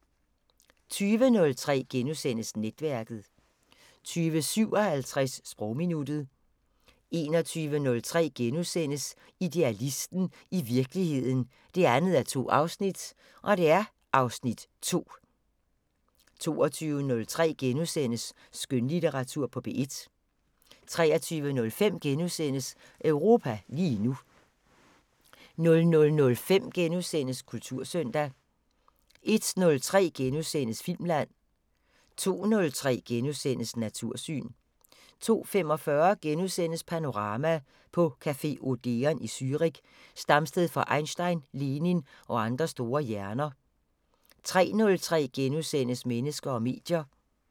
20:03: Netværket * 20:57: Sprogminuttet 21:03: Idealisten – i virkeligheden 2:2 (Afs. 2)* 22:03: Skønlitteratur på P1 * 23:05: Europa lige nu * 00:05: Kultursøndag * 01:03: Filmland * 02:03: Natursyn * 02:45: Panorama: På café Odeon i Zürich, stamsted for Einstein, Lenin og andre store hjerner * 03:03: Mennesker og medier *